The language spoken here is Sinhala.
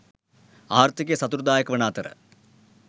ආර්ථිකය සතුටුදායක වන අතර